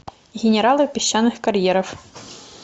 генералы песчаных карьеров